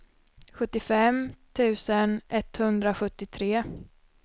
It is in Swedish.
sjuttiofem tusen etthundrasjuttiotre